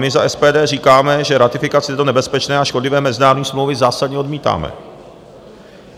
My za SPD říkáme, že ratifikace této nebezpečné a škodlivé mezinárodní smlouvy zásadně odmítáme.